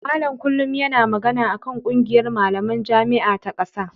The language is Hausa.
Malam kullum yana magana a kan ƙungiyar malaman jami'a ta ƙasa.